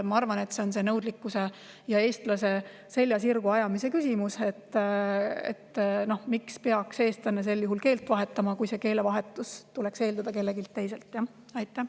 Ma arvan, et see on nõudlikkuse ja eestlase selja sirgu ajamise küsimus: miks peaks eestlane sel juhul keelt vahetama, kui keelevahetust tuleks eeldada kelleltki teiselt?